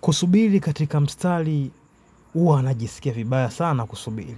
Kusubiri katika mstari huwa najisikia vibaya sana kusubiri.